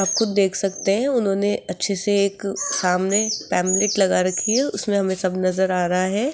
आपको देख सकते हैं उन्होंने अच्छे से एक सामने लगा रखी है उसमें हमें सब नजर आ रहा है।